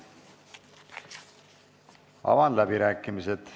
Avan läbirääkimised.